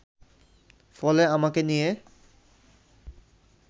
ফলে আমাকে নিয়ে